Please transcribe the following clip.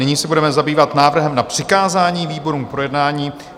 Nyní se budeme zabývat návrhem na přikázání výborům k projednání.